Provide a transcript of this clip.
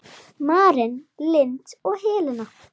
Maren Lind og Helena.